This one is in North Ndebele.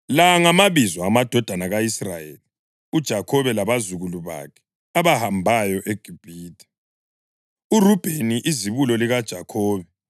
La ngamabizo amadodana ka-Israyeli (uJakhobe labazukulu bakhe) abahambayo eGibhithe: uRubheni izibulo likaJakhobe.